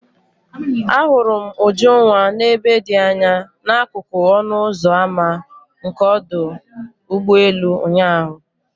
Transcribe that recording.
Ahụrụ m Ujunwa n'ebe dị anya n'akụkụ ọnụ ụzọ ámá nke ọdụ ụgbọ elu ụnyahụ.